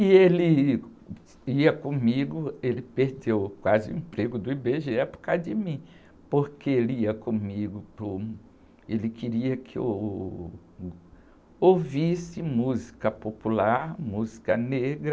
E ele ia comigo, ele perdeu quase o emprego do í-bê-gê-é por causa de mim, porque ele ia comigo para um, ele queria que eu ouvisse música popular, música negra,